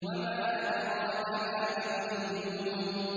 وَمَا أَدْرَاكَ مَا عِلِّيُّونَ